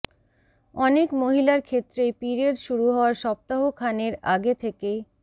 অনেক মহিলার ক্ষেত্রেই পিরিয়ড শুরু হওয়ার সপ্তাহ খানের আগে থেকেই